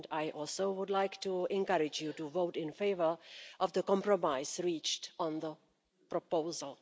I also would like to encourage you to vote in favour of the compromise reached on the proposal.